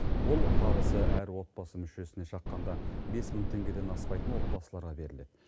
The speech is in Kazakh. ол табысы әр отбасы мүшесіне шаққанда бес мың теңгеден аспайтын отбасыларға беріледі